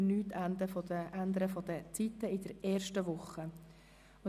In der ersten Woche würde sich an den Zeiten ansonsten nichts ändern.